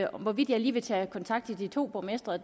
hvorvidt jeg lige vil tage kontakt til de to borgmestre